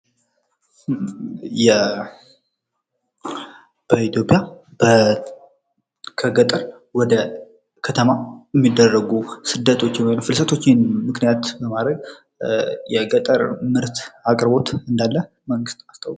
በኢትዮጵያ ከገጠር ወደ ከተማ የሚደረጉ ስደቶችን ወይም ፍልሰቶችን ምክንያት በማድረግ የገጠር ምርት አቅርቦት እንዳለ መንግስት አስታውቋል።